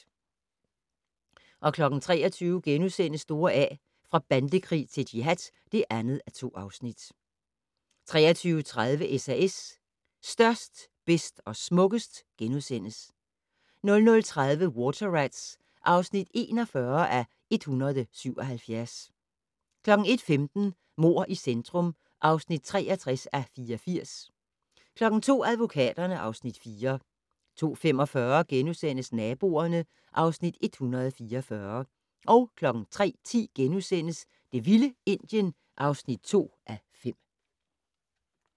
23:00: Store A - fra bandekrig til jihad (2:2)* 23:30: SAS - størst, bedst og smukkest * 00:30: Water Rats (41:177) 01:15: Mord i centrum (63:84) 02:00: Advokaterne (Afs. 4) 02:45: Naboerne (Afs. 144)* 03:10: Det vilde Indien (2:5)*